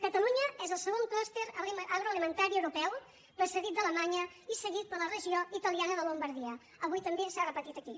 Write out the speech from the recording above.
catalunya és el segon clúster agroalimentari europeu precedit d’alemanya i seguit per la regió italiana de la llombardia avui també s’ha repetit aquí